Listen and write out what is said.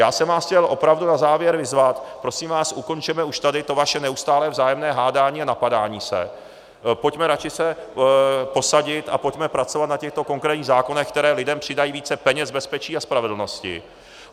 Já jsem vás chtěl opravdu na závěr vyzvat, prosím vás, ukončeme už tady to vaše neustálé vzájemné hádání a napadání se, pojďme se radši posadit a pojďme pracovat na těchto konkrétních zákonech, které lidem přidají více peněz, bezpečí a spravedlnosti.